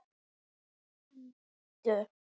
Þeir hlýddu.